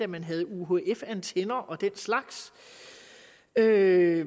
man havde uhf antenner og den slags at